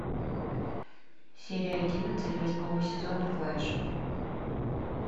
серия одиннадцать восьмого сезона флеш